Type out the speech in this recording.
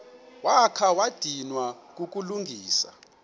wakha wadinwa kukulungisa